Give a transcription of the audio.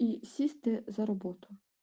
и сесть ээ за работу